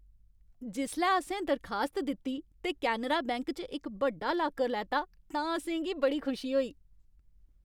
जिसलै असें दरखास्त दित्ती ते कैनरा बैंक च इक बड्डा लाकर लैता तां असें गी बड़ी खुशी होई।